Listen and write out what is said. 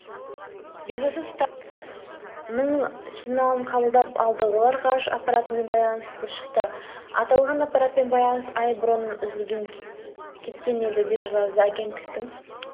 белгісіз станцияның сигналын қабылдап алды олар ғарыш аппаратымен байланысқа шықты аталған аппаратпен байланыс ай бұрын үзіліп кеткен еді деп жазады агенттіктің